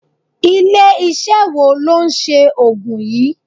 Ilé iṣẹ́ wo ló ń ṣe Ògùn yí?